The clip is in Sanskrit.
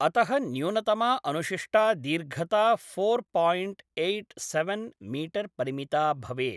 अतः न्यूनतमा अनुशिष्टा दीर्घता four point eight seven metre परिमिता भवेत्।